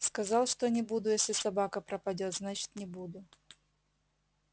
сказал что не буду если собака пропадёт значит не буду